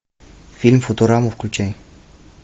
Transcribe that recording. фильм футурама включай